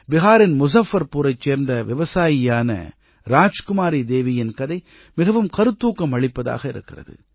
பிஹாரின் முஸஃபர்புரைச் சேர்ந்த விவசாயியான ராஜ்குமாரி தேவியின் கதை மிகவும் கருத்தூக்கம் அளிப்பதாக இருக்கிறது